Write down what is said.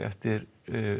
eftir